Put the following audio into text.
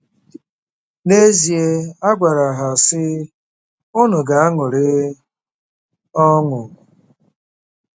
N’ezie, a gwara ha, sị: “ Unu ga-aṅụrị ọṅụ .”